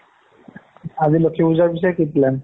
আজি লক্ষ্মী পুজাৰ পিছে কি plan